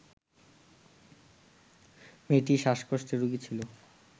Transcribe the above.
মেয়েটি শ্বাসকষ্টের রোগী ছিল